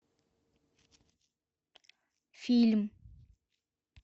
фильм